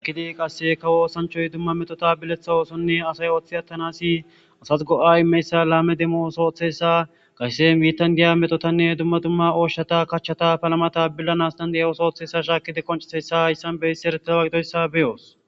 Hakidi qasse kawoosanchoy dumma metota biletha oosonne asay oththi attanasi asas go'ay meyssa laame demmo osooththessa kayssen miitan diya metotanne dumma dumma ooshshata kachchata palama tabillanastandeya osooththesa shaakide qoncisessa issan beysi eretewagidoyssa beyoos